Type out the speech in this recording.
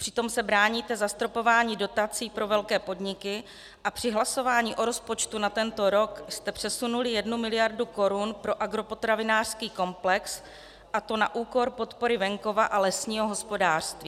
Přitom se bráníte zastropování dotací pro velké podniky a při hlasování o rozpočtu na tento rok jste přesunuli jednu miliardu korun pro agropotravinářský komplex, a to na úkor podpory venkova a lesního hospodářství.